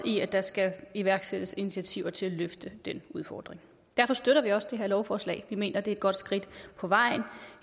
i at der skal iværksættes initiativer til at løfte den udfordring derfor støtter vi også det her lovforslag vi mener det er et godt skridt på vejen